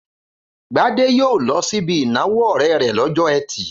Gbadé yóò lọ síbi ìnáwó ọ̀rẹ́ rẹ̀ lọ́jọ́ ẹtì.